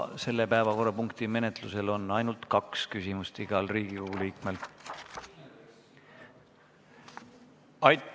Selle päevakorrapunkti menetlusel on igal Riigikogu liikmel õigus küsida ainult kaks küsimust.